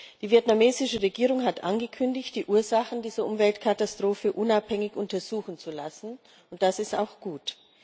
Die vietnamesische Regierung hat angekündigt, die Ursachen dieser Umweltkatastrophe unabhängig untersuchen zu lassen, und das ist auch gut.